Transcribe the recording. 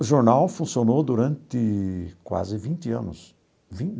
O jornal funcionou durante quase vinte anos